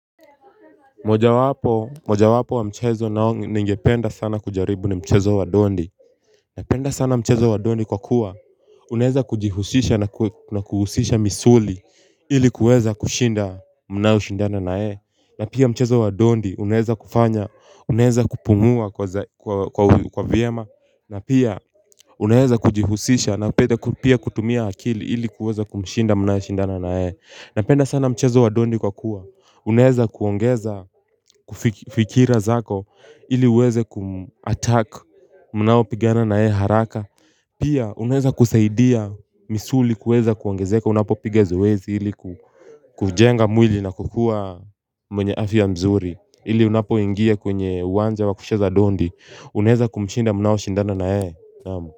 Mojawapo wa mchezo nao ningependa sana kujaribu ni mchezo wa dondi Napenda sana mchezo wa dondi kwa kuwa Unaweza kujihusisha na kuhusisha misuli ili kuweza kushinda mnaoshindana naye na pia mchezo wa dondi unaweza kufanya unaweza kupungua kwa vyema na pia unaweza kujihusisha na pia kutumia akili ili kuweza kumshinda mnaeshindana na yeye. Napenda sana mchezo wa dondi kwa kuwa Uneweza kuongeza kufik fikira zako ili uweze kumuattack mnaopigana na yeye haraka Pia unaweza kusaidia misuli kuweza kuongezeka unapopiga zoezi ili kujenga mwili na kukuwa mwenye afya mzuri ili unapoingia kwenye uwanja wa kucheza dondi unaweza kumshinda mnaoshindana na yeye naam.